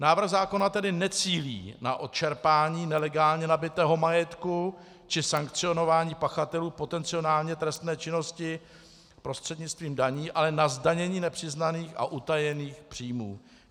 Návrh zákona tedy necílí na odčerpání nelegálně nabytého majetku či sankcionování pachatelů potenciálně trestné činnosti prostřednictvím daní, ale na zdanění nepřiznaných a utajených příjmů.